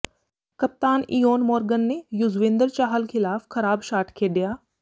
ਕਪਤਾਨ Eoin Morgan ਨੇ ਯੁਜ਼ਵੇਂਦਰ ਚਾਹਲ ਖ਼ਿਲਾਫ਼ ਖ਼ਰਾਬ ਸ਼ਾਟ ਖੇਡਿਆ